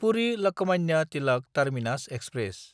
पुरि–लकमान्य Tilak terminus express